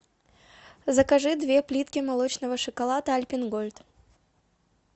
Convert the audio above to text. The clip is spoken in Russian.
закажи две плитки молочного шоколада альпен гольд